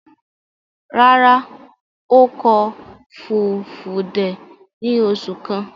Rárá, ó kọ́ Fulfude ní oṣù kan.